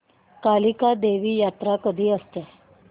कालिका देवी यात्रा कधी असते